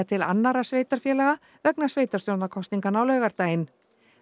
til annarra sveitarfélaga vegna sveitarstjórnarkosninganna á laugardaginn